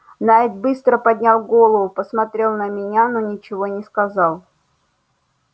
найд быстро поднял голову посмотрел на меня но ничего не сказал